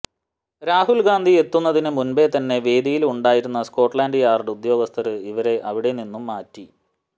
രാഹുല് ഗാന്ധി എത്തുന്നതിന് മുന്പേതന്നെ വേദിയില് ഉണ്ടായിരുന്ന സ്കോട്ലാന്ഡ് യാര്ഡ് ഉദ്യോഗ്സ്ഥര് ഇവരെ അവിടെ നിന്നും മാറ്റി